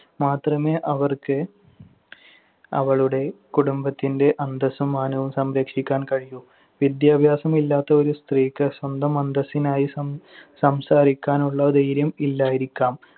മാത്രമേ അവർക്ക് അവളുടെ കുടുംബത്തിന്‍റെ അന്തസ്സും മാനവും സംരക്ഷിക്കാൻ കഴിയൂ. വിദ്യാഭ്യാസമില്ലാത്ത ഒരു സ്ത്രീക്ക് സ്വന്തം അന്തസ്സിനായി സം~ സംസാരിക്കാനുള്ള ധൈര്യം ഇല്ലായിരിക്കാം.